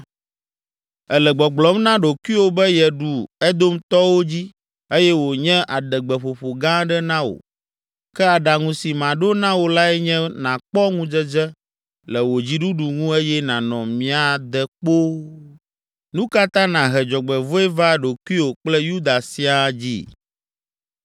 Èle gbɔgblɔm na ɖokuiwò be yeɖu Edomtɔwo dzi eye wònye adegbeƒoƒo gã aɖe na wò. Ke aɖaŋu si maɖo na wò lae nye nàkpɔ ŋudzedze le wò dziɖuɖu ŋu eye nànɔ mia de kpoo! Nu ka ta nàhe dzɔgbevɔ̃e va ɖokuiwò kple Yuda siaa dzi?”